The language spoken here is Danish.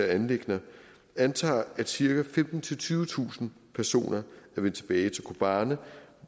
anliggender antager at cirka femtentusind tyvetusind personer er vendt tilbage til kobane